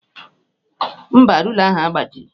Mba, rula ahụ agbajighị.